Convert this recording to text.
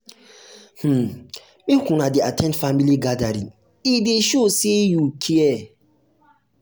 um make una dey at ten d family gathering e dey show um sey you care.